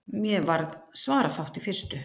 Mér varð svarafátt í fyrstu.